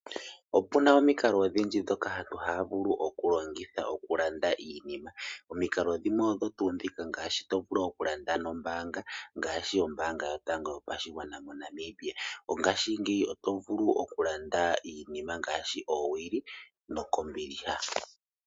Opu na omikalo odhindji ndhoka aantu haya vulu okulongitha okulanda iinima. Omikalo dhimwe odho tuu ndhika ngaashi to vulu okulanda nombaanga ngaashi Ombaanga Yotango Yopashigwana moNamibia. Ngaashingeyi oto vulu okulanda iinima ngaashi oowili kombiliha.